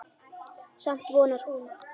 Samt vonar hún.